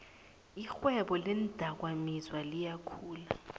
irhwebo leendakamizwa liyakhula